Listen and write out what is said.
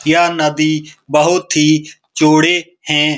यह नदी बहुत ही चौड़े है।